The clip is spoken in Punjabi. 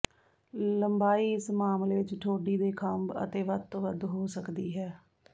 ਲੰਬਾਈ ਇਸ ਮਾਮਲੇ ਵਿੱਚ ਠੋਡੀ ਦੇ ਖੰਭ ਅਤੇ ਵੱਧ ਤੋਂ ਵੱਧ ਹੋ ਸਕਦੀ ਹੈ